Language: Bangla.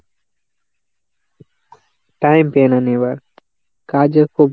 time পেই না নেওয়ার। কাজের খুব